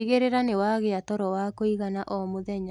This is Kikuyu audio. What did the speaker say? Tigagirira niwagia toro wa kuigana o mũthenya